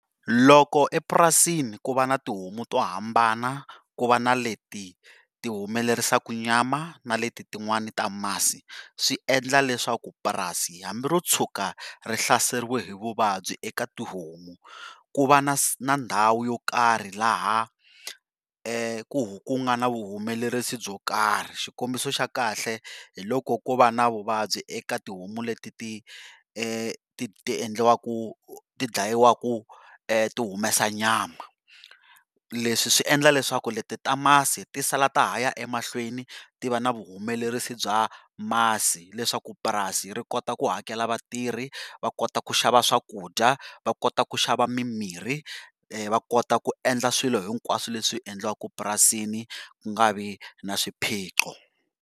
Loko epurasini ku va na tihomu to hambana ku va na leti tihumelerisaku nyama na leti tin'wani ta masi, swi endla leswaku purasi hambi ro tshuka rihlaseriwe hi vuvabyi eka tihomu ku va na ku va na na ndhawu yo karhi laha ku ku ku nga na humelerisa byo karhi xikombiso xa kahle hi loko kova na vuvabyi eka tihomu leti tiendliwawaku tidlyiwaka ti humesa nyama. Leswi swi endla leswaku leti ti ta masi tisala ta haya emahlweni ti va nsa vuhumelerisa bya masi leswaku purasi ri kota ku hakela vatirhi, va kota ku xava swakudya, va kota ku xava mimiri, va kota ku endla swilo hinkwaswo leswi endliwaku purasini ku nga vi na swiphiqo.